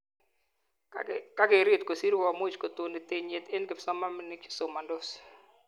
Kakeret kosir komuch kotoni tenyiet eng kipsomanink chesomandos